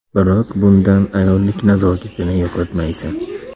Biroq bundan ayollik nazokatini yo‘qotmaysan.